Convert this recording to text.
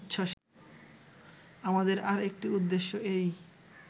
আমাদের আর একটি উদ্দেশ্য এই